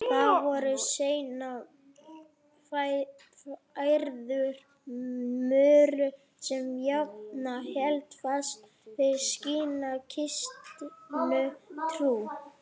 Þær voru seinna færðar Möru sem jafnan hélt fast við sína kristnu trú.